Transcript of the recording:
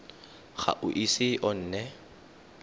ga o ise o nne